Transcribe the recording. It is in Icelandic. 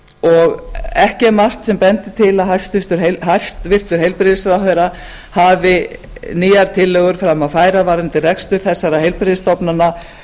og ekki er margt sem bendir til að hæstvirtur heilbrigðisráðherra hafi nýjar tillögur fram að færa varðandi rekstur þessara heilbrigðisstofnana